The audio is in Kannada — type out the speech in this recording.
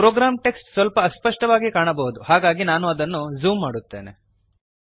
ಪ್ರೋಗ್ರಾಮ್ ಟೆಕ್ಸ್ಟ್ ಸ್ವಲ್ಪ ಅಸ್ಪಷ್ಟವಾಗಿ ಕಾಣಬಹುದು ಹಾಗಾಗಿ ನಾನು ಅದನ್ನು ಝೂಮ್ ಮಾಡುತ್ತೇನೆ